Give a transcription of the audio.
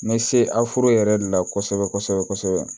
N bɛ se aforo yɛrɛ de la kosɛbɛ kosɛbɛ kosɛbɛ